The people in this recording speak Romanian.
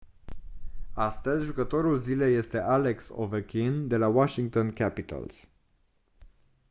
astăzi jucătorul zilei este alex ovechkin de la washington capitals